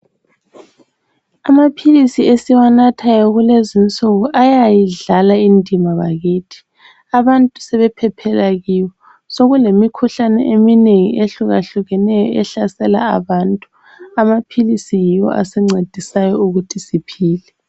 Amaphilisi esiwanathayo kulezinsuku ayayidlala indima bakithi. Abantu sebephephela kiwo ,sokulemikhuhlane eminengi ehlukahlukeneyo ehlasela abantu ,amaphilisi yiwo asincedisayo ukuthi siphile.